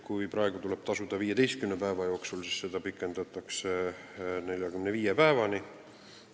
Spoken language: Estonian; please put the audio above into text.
Kui praegu tuleb trahv tasuda 15 päeva jooksul, siis seda aega nüüd pikendatakse 45 päevani.